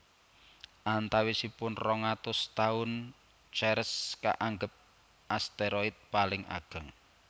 Antawisipun rong atus taun Ceres kaanggep asteroid paling ageng